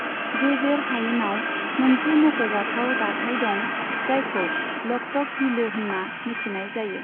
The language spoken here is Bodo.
गेजेर हायेनाव मोनसे मख'जाथाव दाथाय दं, जायखौ लकतक बिलो होनना मिथिनाय जायो।